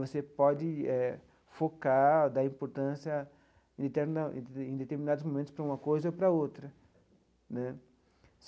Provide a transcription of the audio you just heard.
Você pode eh focar dar importância em determinados momentos para uma coisa ou para outra né.